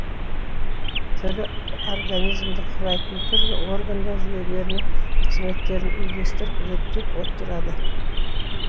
тірі организмді құрайтын түрлі органдар жүйелерінің қызметтерін үйлестіріп реттеп отырады